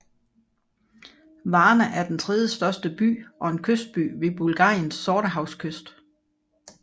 Varna er den tredjestørste by og en kystby ved Bulgariens sortehavskyst